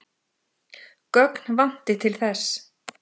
Gögn vanti til þess.